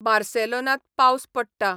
बार्सेलोनांत पावस पडटा